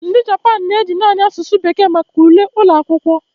Ndị Japan na-eji naanị asụsụ bekee maka ule ụlọ akwụkwọ.